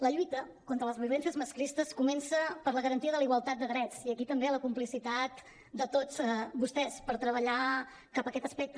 la lluita contra les violències masclistes comença per la garantia de la igualtat de drets i aquí també la complicitat de tots vostès per treballar cap a aquest aspecte